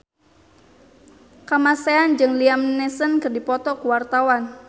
Kamasean jeung Liam Neeson keur dipoto ku wartawan